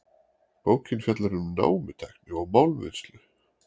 Bókin fjallar um námutækni og málmvinnslu.